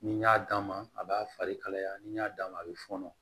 Ni n y'a d'a ma a b'a fari kalaya ni n y'a d'a ma a bɛ fɔnɔ